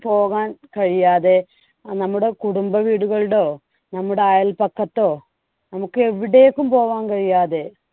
പോകാൻ കഴിയാതെ നമ്മുടെ കുടുംബ വീടുകള്‍ടോ നമ്മുടെ അയൽപക്കത്തോ നമുക്ക് എവിടേക്കും പോകാൻ കഴിയാതെ